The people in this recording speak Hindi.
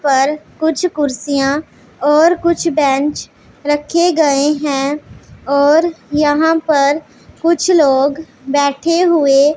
पर कुछ कुर्सियां और कुछ बेंच रखे गए हैं और यहां पर कुछ लोग बैठे हुए--